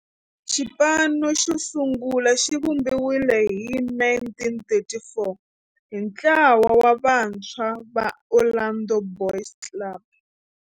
Xipano xosungula xivumbiwile hi 1934 hi ntlawa wa vantshwa va Orlando Boys Club.